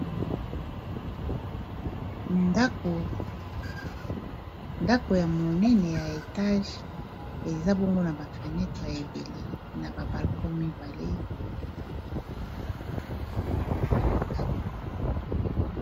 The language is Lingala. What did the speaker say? ndako ya monene ya etage eza bongona ba fenetre ya ebele na ba balcon mibale